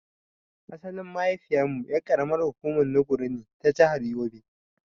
Asalin mahaifiyar mu ƴar ƙaramin hukumar Nguru ne ta jahar yobe.